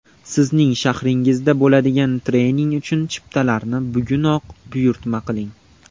Sizning shahringizda bo‘ladigan trening uchun chiptalarni bugunoq buyurtma qiling!